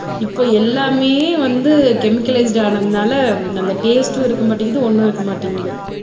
இப்போ எல்லாமே வந்து கெமிக்காலிஸிட் ஆனதுனால அந்த டேஸ்டும் இருக்க மாட்டேங்குது ஒண்ணும் இருக்க மாட்டேங்குது